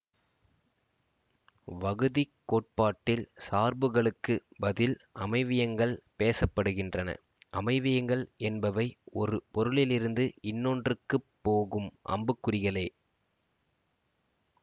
வகுதிக்கோட்பாட்டில் சார்புகளுக்கு பதில் அமைவியங்கள் பேச படுகின்றன அமைவியங்கள் என்பவை ஒரு பொருளிலிருந்து இன்னொன்றுக்குப் போகும் அம்புக்குறிகளே